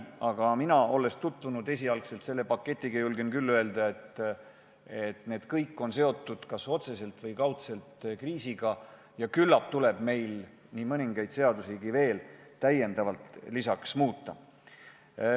Aga mina, olles selle paketiga tutvunud, julgen küll öelda, et kõik ettepanekud on kas otseselt või kaudselt kriisiga seotud, ja küllap tuleb meil lisaks nii mõndagi teist seadust muuta.